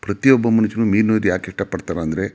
ಪ್ರತಿಯೊಬ್ಬ ಮನುಷ್ಯನೂ ಮೀನು ಇದು ಯಾಕೆ ಇಷ್ಟ ಪಡ್ತಾನೆ ಅಂದ್ರೆ.